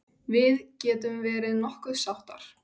Við getum verið nokkuð sáttar.